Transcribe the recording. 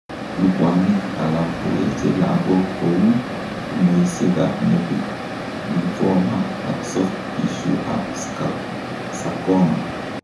Lubwanik alak koweche lagok kouu tumoisiek ab metit, lymphoma ak soft tissue ab sarcoma